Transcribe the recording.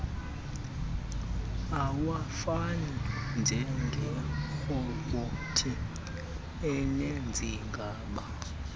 awafani njengerobhothi enezigaba